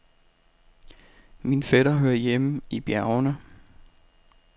Min fætter hører hjemme i bjergene.